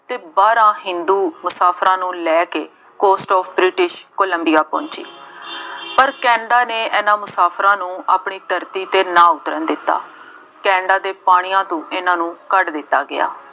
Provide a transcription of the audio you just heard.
ਅਤੇ ਬਾਰਾਂ ਹਿੰਦੂ ਮੁਸਾਫਿਰਾਂ ਨੂੰ ਲੈ ਕੇ ਕੋਸਟ ਆਫ ਬ੍ਰਿਟਿਸ਼ ਕੋਲੰਬੀਆਂ ਪਹੁੰਚੇ। ਪਰ ਕੇਨੈਡਾ ਨੇ ਇਹਨਾ ਮੁਸਾਫਿਰਾਂ ਨੂੰ ਆਪਣੀ ਧਰਤੀ ਤੇ ਨਾ ਉਤਰਨ ਦਿੱਤਾ। ਕੇਨੈਡਾ ਦੇ ਪਾਣੀਆਂ ਤੋਂ ਇਹਨਾ ਨੂੰ ਕੱਢ ਦਿੱਤਾ ਗਿਆ।